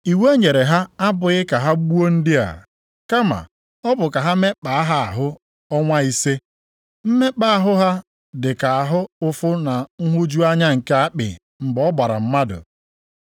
Iwu e nyere ha abụghị ka ha gbuo ndị a, kama ọ bụ ka ha mekpaa ha ahụ ọnwa ise. Mmekpa ahụ ha dịka ahụ ụfụ na nhụju anya nke akpị mgbe ọ gbara mmadụ.